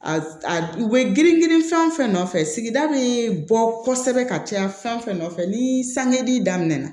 A u bɛ girin girin fɛn o fɛn nɔfɛ sigida bɛ bɔ kosɛbɛ ka caya fɛn fɛn nɔfɛ ni sangili daminɛ na